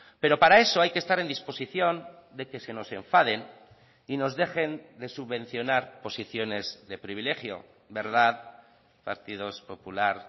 pero para eso hay que estar en disposición de que se nos enfaden y nos dejen de subvencionar posiciones de privilegio verdad partidos popular